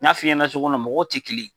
N'a f'i ɲɛna cogo min na, mɔgɔw tɛ kelen ye.